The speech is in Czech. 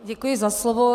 Děkuji za slovo.